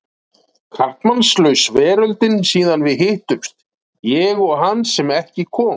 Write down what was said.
Karlmannslaus veröldin síðan við hittumst, ég og hann sem ekki kom.